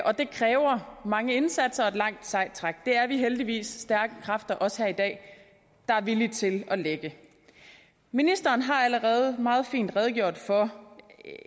det kræver mange indsatser og et langt sejt træk det er vi heldigvis stærke kræfter også her i dag der er villige til ministeren har allerede meget fint redegjort for